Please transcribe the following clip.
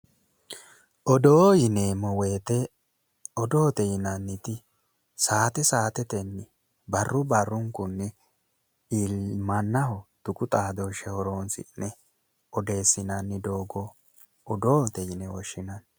Odoo yineemmo woyite odoote yinanniti sa'aate sa'aatetenni barru barrunkunni mannaho tuqu xaadooshe horoonsi'ne odeessinanni doogo odoote yine woshinanni